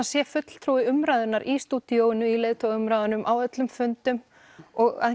sé fulltrúi umræðunnar í stúdíóinu í leiðtogaumræðunum á öllum fundum og að